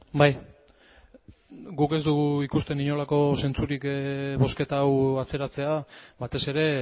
bai guk ez dugu ikusten inolako zentzurik bozketa hau atzeratzea batez ere